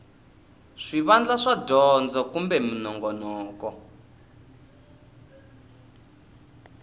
swivandla swa dyondzo kumbe minongonoko